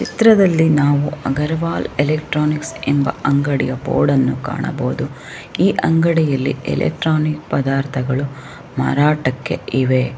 ಚಿತ್ರದಲ್ಲಿ ನಾವು ಅಗರ್ವಾಲ್ ಎಲೆಕ್ಟ್ರಾನಿಕ್ಸ್ ಎಂಬ ಅಂಗಡಿಯ ಬೋರ್ಡ್ನ್ನು ಕಾಣಬಹುದು ಈ ಅಂಗಡಿಯಲ್ಲಿ ಇಲೆಕ್ಟ್ರಾನಿಕ್ ಪದಾರ್ಥಗಳು ಮಾರಾಟಕ್ಕೆ ಇವೆ .